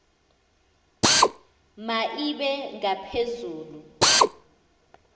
ma ibe ngaphezulu